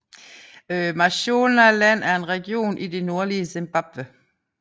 Mashonaland er en region i det nordlige Zimbabwe